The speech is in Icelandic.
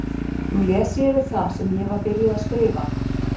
Nú les ég yfir það sem ég var byrjuð að skrifa.